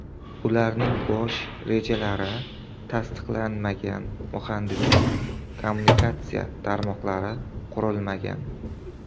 Ularning bosh rejalari tasdiqlanmagan, muhandislik-kommunikatsiya tarmoqlari qurilmagan.